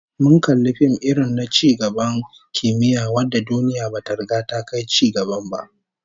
Mun kalli fim irin na ci gaban kimiyya wanda duniya bata riga ta kai cigaban ba